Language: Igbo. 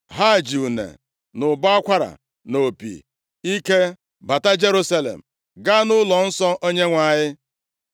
Ha ji une, na ụbọ akwara, na opi ike bata Jerusalem, gaa nʼụlọnsọ Onyenwe anyị.